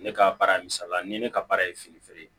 Ne ka baara ye misaliya ni ne ka baara ye fini feere